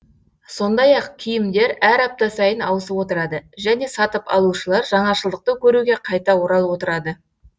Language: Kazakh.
сондай ақ киімдер әр апта сайын ауысып отырады және сатып алушылар жаңашылдықты көруге қайта оралып отырады